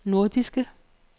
nordiske